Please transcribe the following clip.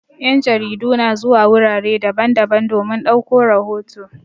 Yan' jaridu na zuwa wurare daban-daban domin ɗauko rahoto.